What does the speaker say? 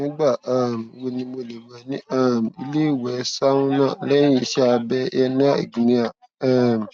ṣé gbígba vicodin wà ní ààbò fún ìtura ìrora nítorí iṣẹ abẹ nítorí iṣẹ abẹ ìrọpò èjìká